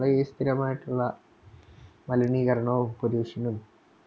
വളരെ സ്ഥിരമായിട്ടുള്ള മലിനീകരണവും Pollution